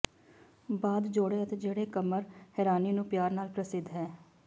ਬਾਅਦ ਜੋੜੇ ਅਤੇ ਜਿਹੜੇ ਕਮਰ ਹੈਰਾਨੀ ਨੂੰ ਪਿਆਰ ਨਾਲ ਪ੍ਰਸਿੱਧ ਹੈ